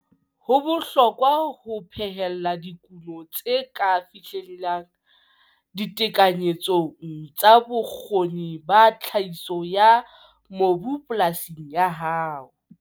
Ho bohlokwa ho phehella dikuno tse ka fihlellehang ditekanyetsong tsa bokgoni ba tlhahiso ya mobu polasing ya hao.